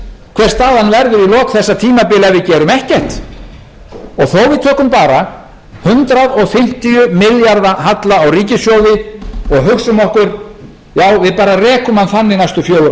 hver staðan verður í lok þessa tímabils ef við gerum ekkert og þó við tökum bara hundrað fimmtíu milljarða halla á ríkissjóði og hugsum okkur já við bara rekum hann þannig næstu fjögur